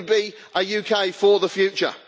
It would be a UK for the future.